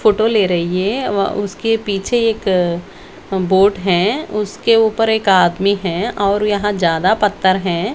Photo ले रही हे व उसके पीछे एक बोट हैं उसके ऊपर एक आदमी हैं और यहाँ ज्यादा पत्तर हैं।